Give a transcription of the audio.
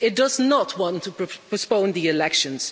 It does not want to postpone the elections.